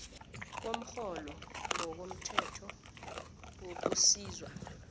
komrholo ngokomthetho wokusizwa